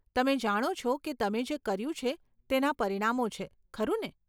તમે જાણો છો કે તમે જે કર્યું છે તેના પરિણામો છે, ખરું ને?